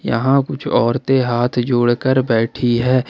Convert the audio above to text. यहां कुछ औरतें हाथ जोड़कर बैठी है।